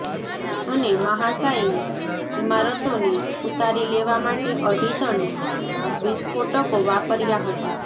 અને મહાશાયી ઇમારતોને ઉતારી લેવા માટે અઢી ટન વિસ્ફોટકો વાપરયા હતા